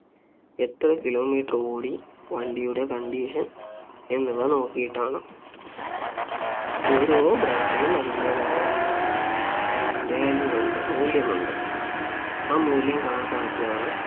എത്ര kilometer ഓടി വണ്ടിയുടെ condition എന്നിവ നോക്കിയിട്ടാണ് ഓരോ brand നും അതിന്റെതായ value ഉണ്ട് മൂല്യമുണ്ട് ആ മൂല്യം കണക്കാക്കിയാണ്